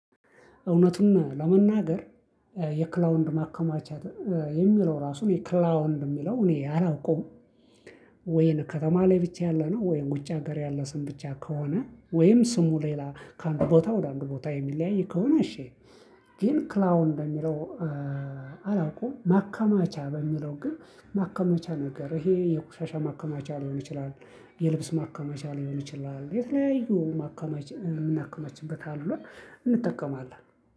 እውነቱን ለመናገር የክላውንድ ማከማቻ የሚለው ራሱ እኔ ክላውንድ የሚለው እኔ አላውቅም። ወይን ከተማ ላይ ብቻ ያለ ነው ወይን ውጭ ሀገር ያለ ስም ብቻ ከሆነ ወይም ስሙ ሌላ ከአንድ ቦታ ወደ አንድ ቦታ የሚለያይ ከሆነ እሺ። ግን ክላውን እንደሚለው። አላውቅም ማከማቻ በሚለው ግን ማከማቻ ነገር ይሄ የቁሻሻ ማከማቻ ሊሆን ይችላል። የልብስ ማካመቻ ሊሆን ይችላል የተለያዩ ማካመች የምናክመችበት አሉ። እንጠቀማለን